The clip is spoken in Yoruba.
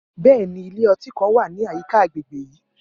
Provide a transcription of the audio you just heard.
Bẹẹni, ilẹ ọti kan wa ni ayika agbegbe yii.